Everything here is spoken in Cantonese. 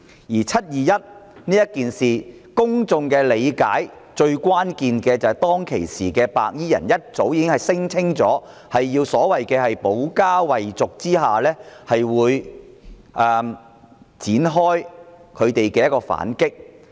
就"七二一"事件，公眾理解到，當時白衣人早已聲稱，為了保家衞族而要展開反擊。